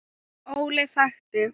Óli þekkti.